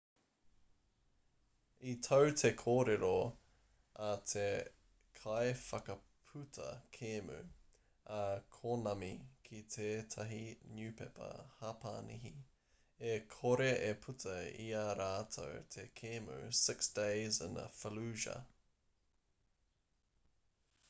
i tau te kōrero a te kaiwhakaputa kēmu a konami ki tētahi niupepa hapanihi e kore e puta i ā rātou te kēmu six days in fallujah